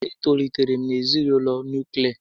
E tolitere m na ezinaụlọ nuklia